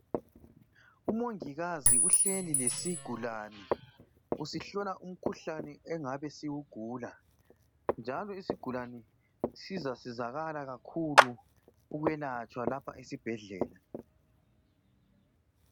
Umongikazi uhleli lesigulane. Usihlola umkhuhlane engabe siwugula, njalo isigulane sizasizakala kakhulu! Ukwelatshwa lapha esibhedlela.